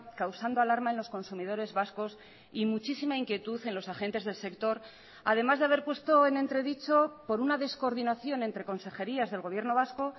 causando alarma en los consumidores vascos y muchísima inquietud en los agentes del sector además de haber puesto en entredicho por una descoordinación entre consejerías del gobierno vasco